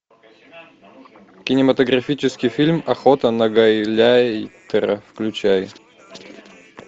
кинематографический фильм охота на гауляйтера включай